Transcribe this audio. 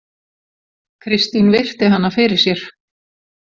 Kristín virti hana fyrir sér.